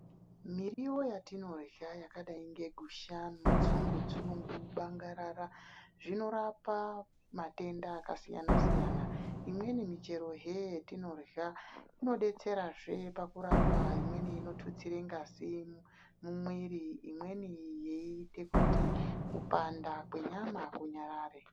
Miriwo yatinorya yakadai ngegusha, mutsungutsungu bangarara zvinorapa matenda akasiyana siyana imweni michero he yetinorya inodetsera he pakurapa imweni inititsirw ngazi munwiri imweni yeiite kuti kupanda kwenyama kunyarare.